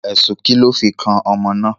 Ẹ̀sùn ki lọ fi ọmọ náà?